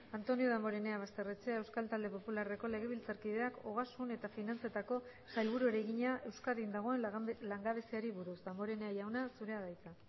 antonio damborenea basterrechea euskal talde popularreko legebiltzarkideak ogasun eta finantzetako sailburuari egina euskadin dagoen langabeziari buruz damborenea jauna zurea da hitza